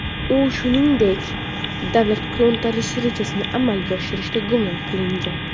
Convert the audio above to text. U, shuningdek, davlat to‘ntarishi rejasini amalga oshirishda gumon qilingan.